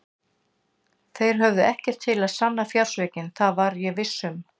Þeir höfðu ekkert til að sanna fjársvikin, það var ég viss um.